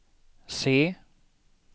C